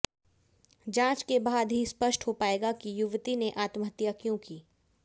जांच के बाद ही स्पष्ट हो पाएगा कि युवती ने आत्महत्या क्यों की